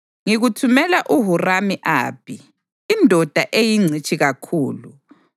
Ngikuthumela uHuramu-Abhi, indoda eyingcitshi kakhulu,